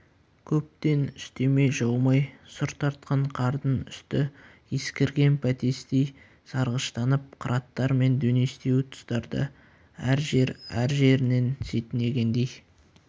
көптен үстеме жаумай сұр тартқан қардың үсті ескірген бәтестей сарғыштанып қыраттар мен дөңестеу тұстарда әр жерәр жерінен сетінегендей